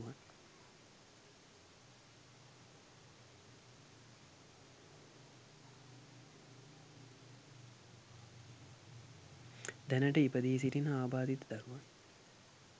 දැනට ඉපදී සිටින ආබාධිත දරුවනුත්